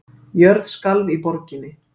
Jörð skalf í borginni